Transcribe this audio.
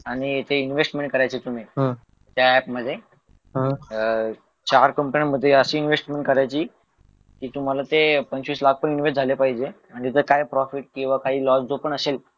आणि ते इन्व्हेस्टमेंट करायची तुम्ही त्या ॲप मध्ये अह चार कंपन्यांमध्ये अशी इन्व्हेस्टमेंट करायची कि तुम्हाला ते पंचवीस लाख पण इन्वेस्टमेंट झाले पाहिजे आणि त्याचं काय प्रॉफिट किंवा काही लॉस जो पण असेल